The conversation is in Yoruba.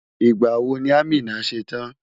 Ìgbà wo ni Amina ṣe tán?